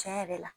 Tiɲɛ yɛrɛ la